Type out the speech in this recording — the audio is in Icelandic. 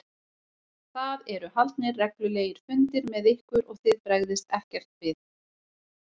Það eru haldnir reglulegir fundir með ykkur og þið bregðist ekkert við?